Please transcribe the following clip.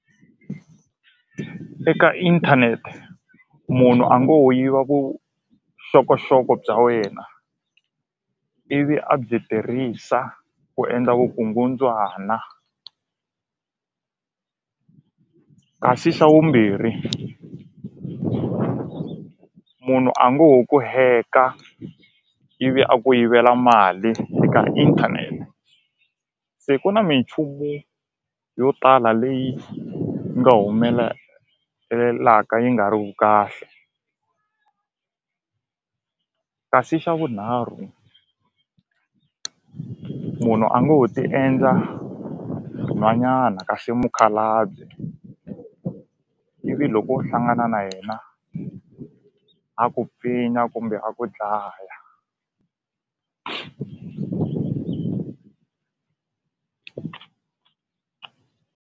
Eka inthanete munhu a ngo ho yiva vuxokoxoko bya wena ivi a byi tirhisa ku endla vukungundzwana kasi xa vumbirhi munhu a ngo ho ku hack-a ivi a ku yivela mali eka inthanete se ku na minchumu yo tala leyi nga yi nga ri ku kahle kasi xa vunharhu munhu a ngo ho ti endla nhwanyana kasi i mukhalabye ivi loko u hlangana na yena a ku pfinya kumbe a ku dlaya.